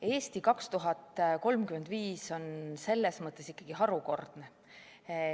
"Eesti 2035" on ikkagi harukordne.